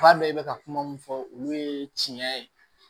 Fura bɛɛ bɛ ka kuma mun fɔ olu ye tiɲɛ ye